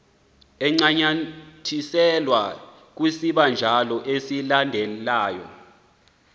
ancanyatheliswe kwisibanjalo esilandelyo